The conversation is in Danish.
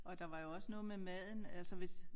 Og der var jo også noget med maden altså hvis